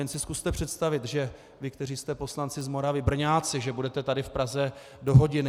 Jen si zkuste představit, že vy, kteří jste poslanci z Moravy, Brňáci, že budete tady v Praze do hodiny.